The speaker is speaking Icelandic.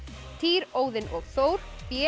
týr Óðinn og Þór b